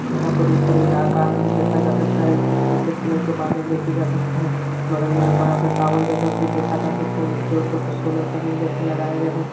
यहाँ पर ऊपर एक आकाश भी देखा जा सकता है कुछ सफेद कलर के बादल देखे जा सकते है बगल में एक बड़ा सा टावर जैसा कुछ देखा जा सकता है जिसके ऊपर कुछ सोलर पैनल जैसे लगाए गए है।